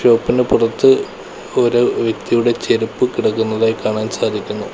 പുറത്ത് ഒരു വ്യക്തിയുടെ ചെരുപ്പ് കിടക്കുന്നതായി കാണാൻ സാധിക്കുന്നു.